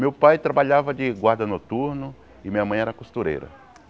Meu pai trabalhava de guarda noturno e minha mãe era costureira.